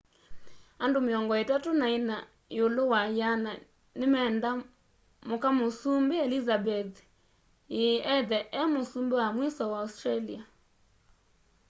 andũ mĩongo itatũ na ĩna yĩũlũ wa yĩana nĩmenda mũka mũsũmbĩ elizabeth ĩĩ ethe e mũsũmbĩ wa mwĩso wa australia